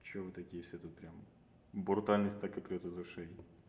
чё вы такие все тут прямо брутальность так и прёт из ушей